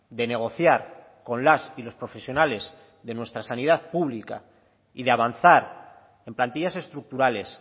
de negociar con las y los profesionales de nuestra sanidad pública y de avanzar en plantillas estructurales